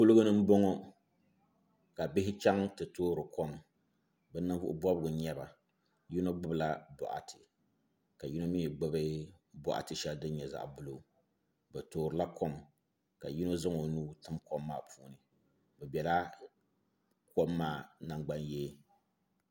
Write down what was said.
Kuliga ni n boŋo ka bihi chaŋ ti toori kom bi ninvuɣu bobgu n nyɛba yino gbubila boɣati ka tino mii gbubi boɣati shɛli din nyɛ zaɣa buluu bi toorila kom ka yino zaŋ o nuu tim kom maa puuni bi bɛla kom maa nangban yee